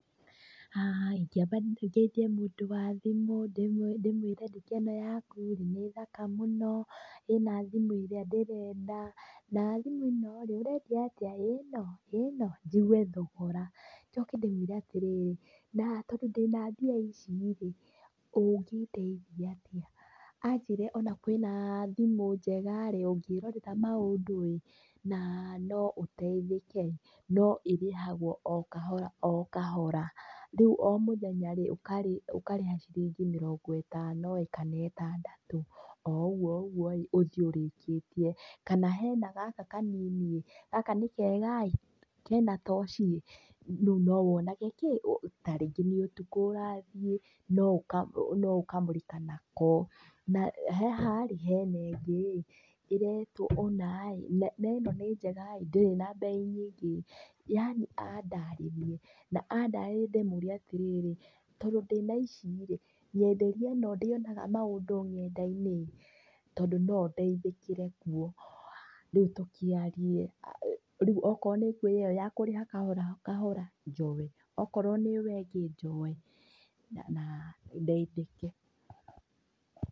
Ingĩamba njerie mũndũ wa thimũ, ndĩmwĩre nduka ĩno yaku rĩ, nĩ thaka mũno, ĩna thimũ ĩrĩa ndĩrenda, na thimũ ĩno rĩ, ĩrendio atĩa, ĩno ĩno, nnigue thogora, njoke ndĩmwĩre atĩrĩrĩ, na tondũ ndĩna mbia ici rĩ, ũngĩndeithia atĩa, anjĩre ona kwĩna thimũ njega rĩ, ũngĩrorera maũndũ ĩ, na, noũteithĩke, no ĩrĩhagwo o kahora o kahora, rĩu o mũthenya ũka ũkarĩha o ciringi mĩrongo ĩtano ĩ kana ĩtandatũ, oũguo oũguo rĩ, ũthiĩ ũrĩkĩtie, kana hena gaka kanini ĩ, gaka nĩ kega ĩ. kena toshi ĩ, rĩu nowonage kĩ, [uu] tarĩngĩ nĩ ũtukũ ũrathiĩ, noũka, noũkamũrĩka nako, na, haha ĩ hena ĩngĩ, ĩretwo ũnaĩ na neno nĩ njega ĩ ndĩrĩ na mbei nyingĩ, yani andarĩrie, na andarĩria ndĩmwĩre atĩrĩrĩ, tondũ ndĩna ici rĩ, nyenderia ĩno ndĩonaga maũndũ ng'enda-inĩ tondũ nondeithĩkĩre kuo, rĩu tũkĩarie, aah rĩu ĩko nĩkũrĩ ĩyo ya kũrĩha kahora kahora, njoe, okorwo nĩyo ĩngĩ njoe na na ndeithĩke .